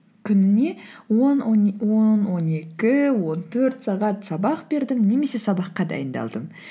күніне он он екі он төрт сағат сабақ бердім немесе сабаққа дайындалдым